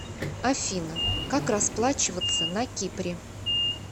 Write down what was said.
афина как расплачиваться на кипре